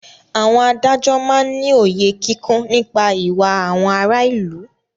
Àwọn adájọ́ máá ń ní òye kíkún nípa ìwà àwọn ará ìlú